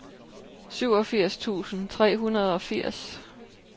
syvogfirs tusind tre hundrede og firs